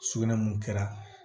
Sugunɛ mun kɛra